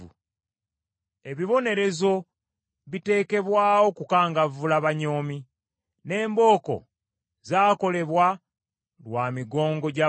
Ebibonerezo bitekebwawo kukangavvula banyoomi, n’embooko zaakolebwa lwa migongo gy’abasirusiru.